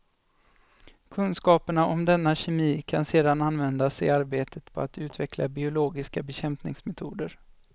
Kunskaperna om denna kemi kan sedan användas i arbetet på att utveckla biologiska bekämpningsmetoder.